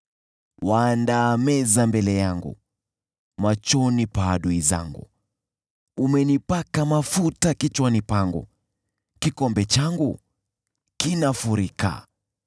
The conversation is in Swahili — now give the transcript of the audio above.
Waandaa meza mbele yangu machoni pa adui zangu. Umenipaka mafuta kichwani pangu, kikombe changu kinafurika.